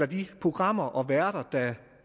de programmer og værter der